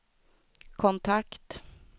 kontakt